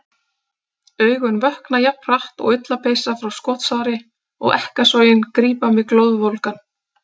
Augun vökna jafn hratt og ullarpeysa frá skotsári og ekkasogin grípa mig glóðvolgan.